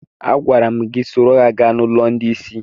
Agwara m gị soro ha gaa n'ụlọ ndị isi!